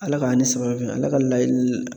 Ala k'an ni sababa bɛn Ala ka laɲini